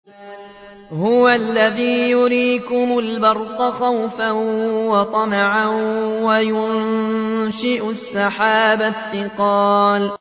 هُوَ الَّذِي يُرِيكُمُ الْبَرْقَ خَوْفًا وَطَمَعًا وَيُنشِئُ السَّحَابَ الثِّقَالَ